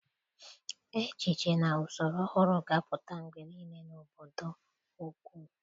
Echiche na usoro ọhụrụ ga-apụta mgbe niile n'obodo ukwu.